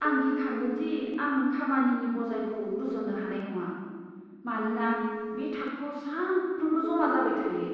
आं गिखाङो दि आं खामानिनि बजायखौ रुजुननो हानाय नङा, मानोना बे थाखोआव सानफ्रोमबो जमा जाबाय थायो।